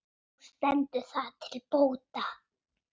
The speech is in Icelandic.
Nú stendur það til bóta.